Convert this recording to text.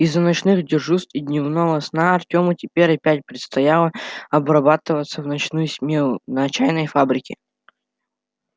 из-за ночных дежурств и дневного сна артёму теперь опять предстояло отрабатывать в ночную смену на чайной фабрике